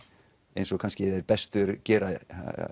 eins og kannski þeir bestu gera